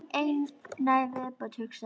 Eina í viðbót, hugsaði hann.